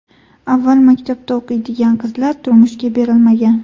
Avval maktabda o‘qiydigan qizlar turmushga berilmagan.